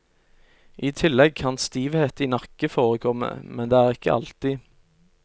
I tillegg kan stivhet i nakke forekomme, men det er ikke alltid.